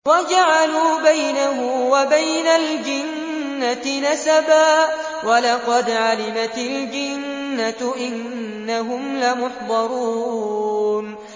وَجَعَلُوا بَيْنَهُ وَبَيْنَ الْجِنَّةِ نَسَبًا ۚ وَلَقَدْ عَلِمَتِ الْجِنَّةُ إِنَّهُمْ لَمُحْضَرُونَ